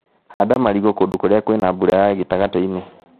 Handa marigũ kũndũ kũria kwina mbura ya gĩtagatĩinĩ.